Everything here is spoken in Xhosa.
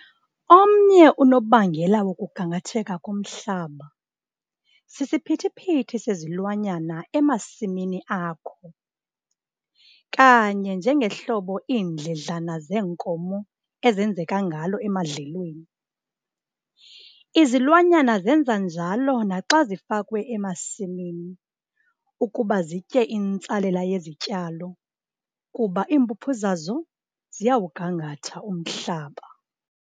Omnye unobangela wokugangatheka komhlaba sisiphithi-phithi sezilwanyana emasimini akho. Kanye njengohlobo iindledlana zeenkomo ezenzeka ngalo emadlelweni, izilwanyana zenza njalo naxa zifakwe emasimini ukuba zitye intsalela yezityalo kuba iimpuphu zazo ziyawugangatha umhlaba.